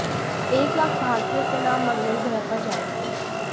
एक लाख भारतीयों के नाम मंगल ग्रह पर जाएंगे